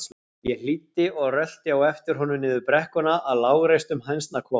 Ég hlýddi og rölti á eftir honum niður brekkuna að lágreistum hænsnakofanum.